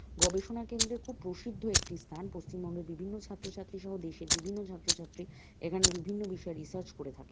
গবেষণা কেন্দ্রে খুব প্রসিদ্ধ একটি স্থান পশ্চিমবঙ্গের বিভিন্ন ছাত্র ছাত্রী সহ দেশের বিভিন্ন ছাত্র ছাত্রী এখানে বিভিন্ন বিষয়ে রিসার্চ করে থাকে।